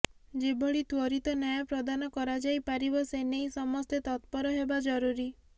ଯେଭଳି ତ୍ବରିତ ନ୍ୟାୟ ପ୍ରଦାନ କରାଯାଇ ପାରିବ ସେ ନେଇ ସମସ୍ତେ ତତ୍ପର ହେବା ଜରୁରୀ